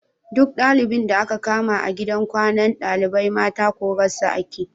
Duk ɗalibin da aka kama a gidan kwanan ɗalibai mata korarsa ake